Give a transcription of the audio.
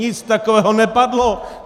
Nic takového nepadlo!